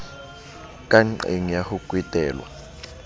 ka nqeng ya ho kwetelwa